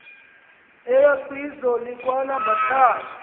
eya kwizwe lakwalambathayo